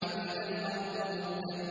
وَإِذَا الْأَرْضُ مُدَّتْ